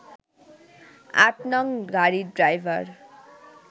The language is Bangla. ৮ নং গাড়ির ড্রাইভার